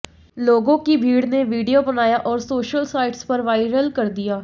लोगों की भीड़ ने वीडियो बनाया और सोशल साइट्स पर वाइरल कर दिया